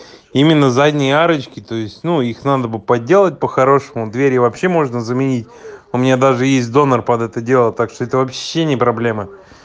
именно задние арочки то есть ну их надо бы подделать по-хорошему двери вообще можно заменить у меня даже есть донор под это дело так что это вообще не проблема